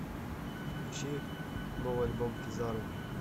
включи новый альбом кизару